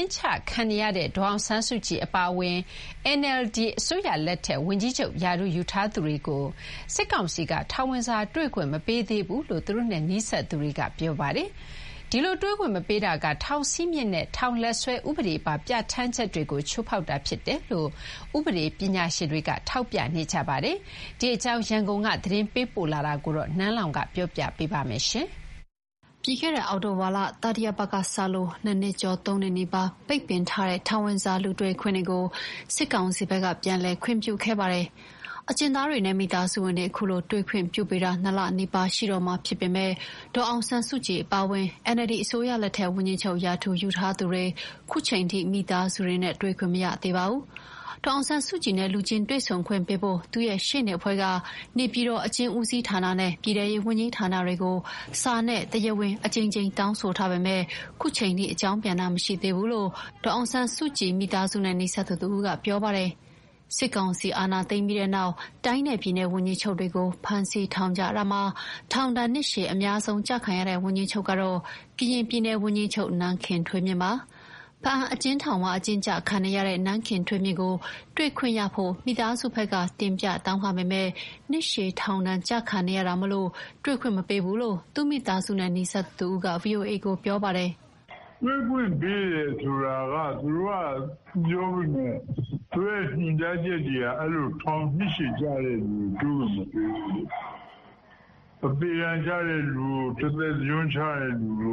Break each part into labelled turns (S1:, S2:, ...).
S1: ဉ်းချခံနေရတဲ့ ဒေါ်အောင်ဆန်းစုကြည်အပါအဝင် NLD အစိုးရလက်ထက် ဝန်ကြီးချုပ်ရာထူးယူထားသူတွေကို စစ်ကောင်စီက ထောင်ဝင်စာတွေ့ခွင့်မပေးသေးဘူးလို့ သူတို့နဲ့နီးစပ်သူတွေက ပြောပါတယ်။ ဒီလိုတွေ့ခွင့်မပေးတာက ထောင်စည်းမျဉ်းနဲ့ထောင်လက်စွဲ ဥပဒေပါပြဌာန်းချက်တွေကို ချိုးဖောက်တာဖြစ်တယ်လို့ ဥပဒေပညာရှင်တွေကထောက်ပြနေကြပါတယ်။ ဒီအကြောင်း ရန်ကုန်က သတင်းပေးပို့တာကို နန်းလောဝ်က တင်ပြပေးထားပါတယ်။ ပြီးခဲ့တဲ့ အောက်တိုဘာလ တတိယပတ်ကစလို့ နှစ်နှစ်ကျော် သုံးနှစ်နီးပါးပိတ်ပင်ထားတဲ့ ထောင်ဝင်စာလူတွေ့ခွင့်တွေကို စစ်ကောင်စီဘက်က ပြန်လည်ခွင့်ပြုခဲ့တာပါ။ အကျဉ်းသားတွေနဲ့ မိသားစုဝင်တွေ ခုလို တွေ့ခွင့်ပြုပေးတာ ၂ လနီးပါးရှိတော့မှာ ဖြစ်ပေမယ့် ဒေါ်အောင်ဆန်းစုကြည်အပါအဝင် NLD အစိုးရလက်ထက် ဝန်ကြီးချုပ်ရာထူးယူထားသူတွေ ခုချိန်ထိ မိသားစုနဲ့ တွေ့ခွင့်မရသေးပါဘူး။ ဒေါ်အောင်ဆန်းစုကြည်နဲ့ လူချင်းတွေ့ဆုံခွင့်ပေးဖို့ သူ့ရဲ့ရှေ့နေအဖွဲ့က နေပြည်တော် အကျဉ်းဦးစီးဌာနနဲ့ ပြည်ထဲရေးဝန်ကြီးဌာနတွေကို စာနဲ့ တရားဝင်အကြိမ်ကြိမ်တောင်းဆိုထားပေမယ့် ခုချိန်ထိအကြောင်းပြန်တာ မရှိသေးဘူးလို့ ဒေါ်အောင်ဆန်းစုကြည်မိသားစုနဲ့ နီးစပ်သူတဦးကပြောပါတယ်။ စစ်ကောင်စီအာဏာသိမ်းပြီးနောက် တိုင်းနဲ့ ပြည်နယ်ဝန်ကြီးချုပ်တွေကို ဖမ်းဆီးထောင်ချတာမှာ ထောင်ဒဏ်နှစ်ရှည်အများဆုံးကျခံရတဲ့ ဝန်ကြီးချုပ်ကတော့ ကရင်ပြည်နယ်ဝန်ကြီးချုပ် နန်းခင်ထွေးမြင့်ပါ။ ဘားအံ့အကျဉ်းထောင်မှာ အကျဉ်းကျခံနေရတဲ့ နန်းခင်ထွေးမြင့်ကိုတွေ့ခွင့်ရဖို့ မိသားစုဘက်က တင်ပြတောင်းခံပေမယ့် နှစ်ရှည် ထောင်ဒဏ်ကျခံနေရတာမို့ တွေ့ခွင့်မပေးဘူးလို့ သူ့မိသားစုနဲ့နီးစပ်သူတဦးက ဗွီအိုအေကို ခုလိုပြောပါတယ်။
S2: "တွေ့ခွင့်ပေးတယ်လို့ သူတို့ကပြောပေမယ့် သူတို့ရဲ့ညွှန်ကြားချက်တွေက နှစ်ရှည်ကျတဲ့သူတွ
S3: ေ
S2: ကို တွေ့ခွင့်မပေးဘူး။ သေဒဏ်ကျတဲ့သူ၊ တသက်တကျွန်းကျတဲ့သူတွေ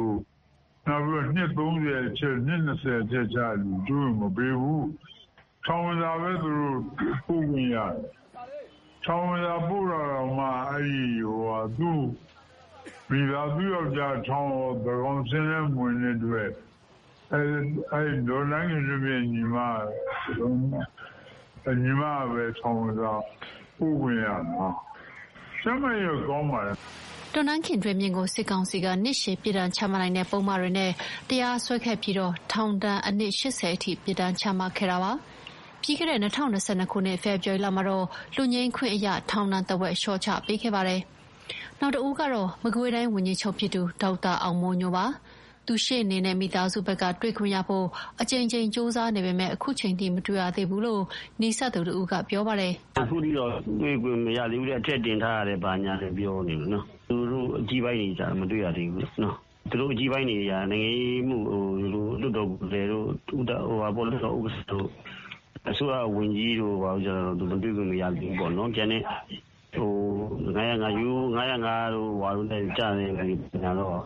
S2: ကိုမပေးဘူး။ နောက် နှစ်၂၀ အထက် နှစ် ၃၀ အထက် တွေ့ခွင့်မပေးဘူး။ ထောင်ဝင်စာပဲ ပို့ခွင့်ရတယ်။ ထောင်ဝင်စာပို့တာတောင် သူ့ယောက်ကျား သန်းခေါင်စာရင်းမဝင်တဲ့အတွက် ဒေါ်နန်းခင်ထွေးမြင့် ညီမပဲ ထောင်ဝင်စာပို့ခွင့်ရတာ။ ကျန်းမာရေးတော့ကောင်းပါတယ်။
S1: " နန်းခင်ထွေးမြင့်ကို စစ်ကောင်စီက နှစ်ရှည်ပြစ်ဒဏ်ချမှတ်နိုင်တဲ့ပုဒ်မတွေနဲ့တရားစွဲခဲ့ပြီး ထောင်ဒဏ် နှစ် ၈၀ အထိပြစ်ဒဏ်ချမှတ်ခဲ့တာပါ။ ပြီးခဲ့တဲ့ ၂၀၂၂ ဖေဖော်ဝါရီလမှာတော့ လွတ်ငြိမ်ချမ်းသာခွင့်အရ ထောင်ဒဏ်ထက်ဝက် လျှော့ချပေးခဲ့ပါတယ်။ နောက်တဦးကတော့ မကွေးတိုင်းဝန်ကြီးချုပ်ဖြစ်သူ ဒေါက်တာအောင်မိုးညိုပါ။ သူ့ရှေ့နေနဲ့ မိသားစုကတွေ့ခွင့်ရဖို့ အကြိမ်ကြိမ်ကြိုးစားနေပေမယ့် ခုချိန်ထိမတွေ့ရသေးဘူးလို့ နီးစပ်သူတဦးကပြော ပါတယ်
S3: ။ "ခုထိတော့တွေ့ခွင့်မရသေးဘူး။ အထက်တင်ထားတယ် ဘာ ညာပြောနေတယ်။ သူတို့အကြီးပိုင်းတွေက မတွေ့ရသေးဘူး။ သူတို့အကြီးပိုင်းတွေက နိုင်ငံရေးမှုတို့၊ လွှတ်တော်ကိုယ်စားလှယ်တို့၊ လွှတ်တော်ဥက္ကဋ္ဌတို့၊ အစိုးရဝန်ကြီးပိုင်းတွေ တွေ့ခွင့်မရသေးဘူးပေါ့နော်။ ရိုးရိုး ၅၀၅ နဲ့ကျတဲ့သူတွေလောက်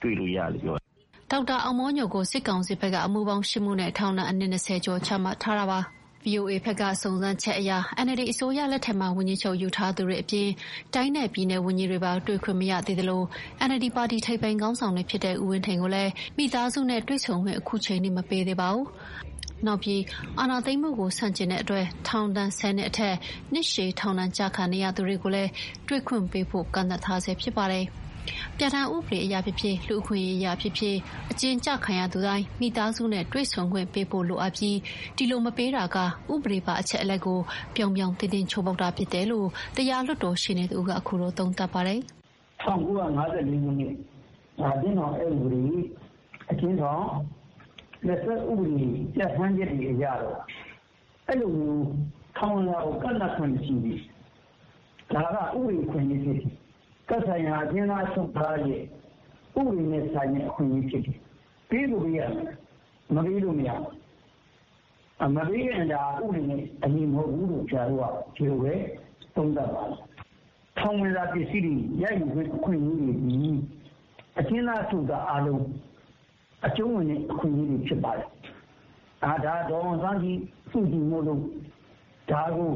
S3: ပဲ တွေ့ခွင့်ရတယ်။"
S1: ဒေါက်တာအောင်မိုးညိုကို စစ်ကောင်စီဘက်က အမှုပေါင်း ၈ မှုနဲ့ ထောင်ဒဏ် နှစ် ၂၀ ကျော်ချမှတ်ထား တာပါ။ ဗွီအိုအေဘက်က စုံစမ်းချက်အရ NLD အစိုးရလက်ထက်မှာ ဝန်ကြီးချုပ်ရာထူးယူထားသူတွေအပြင် တိုင်းနဲ့ပြည်နယ်ဝန်ကြီးတွေပါ တွေ့ခွင့်မရသေးသလို NLD ပါတီ ထိပ်ပိုင်းခေါင်းဆောင်တွေဖြစ်တဲ့ ဦးဝင်းထိန်ကိုလည်း မိသားစုနဲ့တွေ့ဆုံခွင့် အခုချိန်ထိ မပေးသေးပါဘူး။ နောက်ပြီး အာဏာသိမ်းမှုကိုဆန့်ကျင်လို့ ထောင်ဒဏ် ၁၀ နှစ်အထက် နှစ်ရှည်ထောင်ဒဏ်ကျခံနေရသူတွေကိုလည်း တွေ့ခွင့်ပေးဖို့ ကန့်သတ်ထားဆဲဖြစ်ပါတယ်။ ပြဌာန်းဥပဒေအရဖြစ်ဖြစ်၊ လူ့အခွင့်အရေးအရဖြစ်ဖြစ် အကျဉ်းကျခံရသူတိုင်း မိသားစုနဲ့တွေ့ဆုံခွင့် ပေးဖို့လိုအပ်ပြီး ဒီလိုမပေးတာက ဥပဒေပါအချက်အလက်ကို ပြောင်ပြောင်တင်းတင်း ချိုးဖောက်တာပဲလို့ တရားလွှတ်တော်ရှေ့နေတဦးက ခုလိုသုံးသပ်ပါတယ်။ "၁၉၅၄
S3: အကျဉ်းထောင်လက်စွဲဥပဒေအရ အဲလိုမျိုးထောင်ဝင်စာကို ကန့်သတ်ခွင့်မရှိဘူး။ ဒါကဥပဒေ အခွင့်အရေးဖြစ်တယ်။ သက်ဆိုင်ရာအကျဉ်းသားတွေရဲ့ ဥပဒေပါအခွင့်အရေးဖြစ်တယ်။ ပေးကိုပေးရမယ်။ မပေးလို့မရဘူး။ မပေးရင်ဥပဒေနဲ့မညီဘူးလို့ ဆရာတို့သုံးသပ်ပါတယ်။ တောင်ဝင်စာပစ္စည်းရယူခွင့်သည် အကျဉ်းသားတိုင်းရရမယ့်အခွင့်အရေးဖြစ်ပါတယ်။ ဒေါ်အောင်ဆန်းစုကြည်မို့လို့ ပိတ်ပင်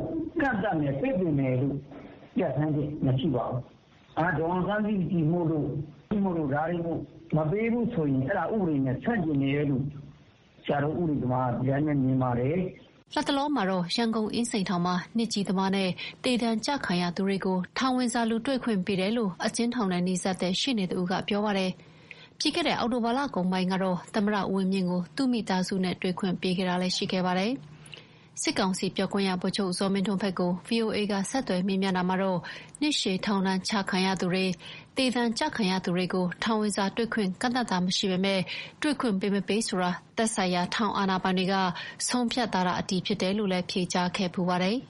S3: ကန့်သတ်မယ်လို့ လုပ်လို့မရပါဘူး။ ဒေါ်အောင်ဆန်းစုကြည်မို့မပေးရင် ဒါ့က ဥပဒေနဲ့မညီညွတ်ဘူးလို့ ပြောရမှာပါ။"
S1: လတ်တလောမှာတော့ ရန်ကုန်အင်းစိန်ထောင်မှာ နှစ်ကြီးသမားနဲ့သေဒဏ်ကျခံရသူတွေကို ထောင်ဝင်စာလူတွေ့ခွင့်ပေးတယ်လို့ အကျဉ်းထောင်နဲ့နီးစပ်တဲ့ရှေ့နေတဦးကပြောပါတယ်။ ပြီးခဲ့တဲ့ အောက်တိုဘာလကုန်ပိုင်းလကတော့ သမ္မတဦးဝင်းမြင့်ကို သူ့မိသားစုနဲ့တွေ့ခွင့်ပေးတာ ရှိခဲ့ပါတယ်။ စစ်ကောင်စီပြောခွင့်ရ ဗိုလ်ချုပ်ဇော်မင်းထွန်းဘက်ကို ဗွီအိုအေကဆက်သွယ်မေးမြန်းတာမှာတော့ နှစ်ရှည်ထောင်ဒဏ်ချခံရသူတွေ၊ သေဒဏ်ကျခံရသူတွေကို ထောင်ဝင်စာတွေခွင့်ကန့်သတ်တာ မရှိပေမယ့် တွေ့ခွင့်ပေးမပေးဆိုတာ သက်ဆိုင်ရာထောင်အာဏာပိုင်တွေရဲ့ဆုံးဖြတ်တာသာ အတည်ဖြစ်တယ်လို့ ဖြေကြားခဲ့ဖူးပါတယ်။